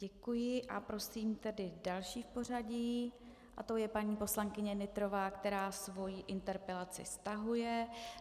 Děkuji a prosím tedy další v pořadí a tou je paní poslankyně Nytrová, která svou interpelaci stahuje.